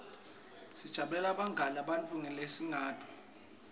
sijabulela bungani nebantfu lesingabati